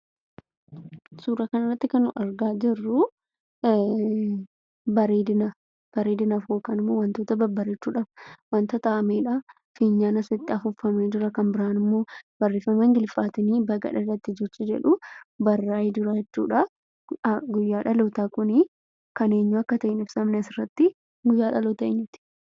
Suuraa kanarratti kan argaa jirru bareedina, bareedinaaf yookiin immoo wantoota babbareechuudhaaf wanta ta'amedha. Fiinyaan asitti afuufamee jira, kan biraan immoo barreeffama Ingiliffaatiin 'baga dhalatte' jechi jedhu barraa'ee jira jechuudha. Guyyaan dhalootaa kuni kan eenyuu akka ta'e hin ibsamne asirratti. Guyyaa dhalootaa eenyuuti?